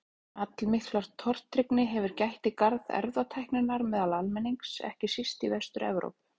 Allmikillar tortryggni hefur gætt í garð erfðatækninnar meðal almennings, ekki síst í Vestur-Evrópu.